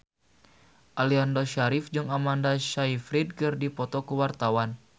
Aliando Syarif jeung Amanda Sayfried keur dipoto ku wartawan